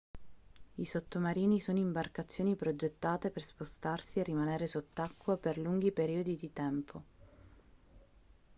i sottomarini sono imbarcazioni progettate per spostarsi e rimanere sott'acqua per lunghi periodi di tempo